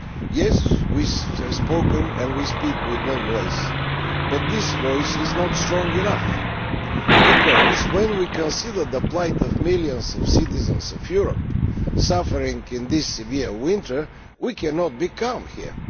Yes, we have spoken, and we speak, with one voice, but this voice is not strong enough. Because, when we consider the plight of the millions of citizens in Europe suffering in this severe winter, we cannot be calm here.